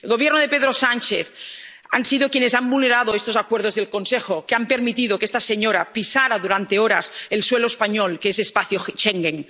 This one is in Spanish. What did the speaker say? Maduro. El Gobierno de Pedro Sánchez ha sido quien ha vulnerado estos acuerdos del Consejo, pues ha permitido que esta señora pisara durante horas el suelo español, que es espacio Schengen.